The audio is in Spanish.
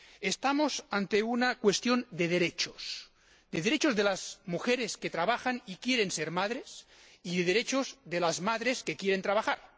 Estamos ante una cuestión de derechos, de derechos de las mujeres que trabajan y quieren ser madres y de derechos de las madres que quieren trabajar.